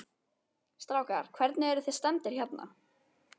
Strákar, hvernig, eruð þið stemmdir hérna?